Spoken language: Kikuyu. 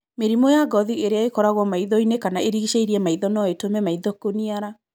Mĩrimũ ya ngothi ĩrĩa ĩkoragwo maitho-inĩ kana ĩrigicĩirie maitho no ĩtũme maitho kũniara.